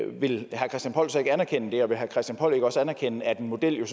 vil herre christian poll så ikke anerkende det og vil herre christian poll ikke også anerkende at en model jo